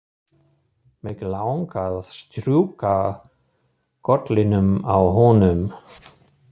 Mig langar að strjúka kollinum á honum.